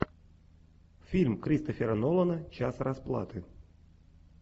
фильм кристофера нолана час расплаты